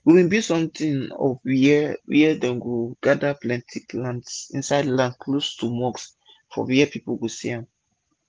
we bin build somtin of wia dem wia dem go dey gada plenti plants insid land close to mosque for wia people go see am